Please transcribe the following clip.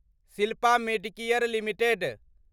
Shilpa medicare limited